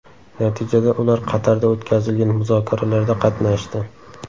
Natijada ular Qatarda o‘tkazilgan muzokaralarda qatnashdi.